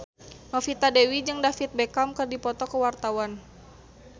Novita Dewi jeung David Beckham keur dipoto ku wartawan